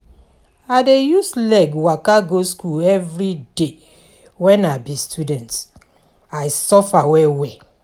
I dey use leg waka go skool everyday wen I be student, I suffer well-well.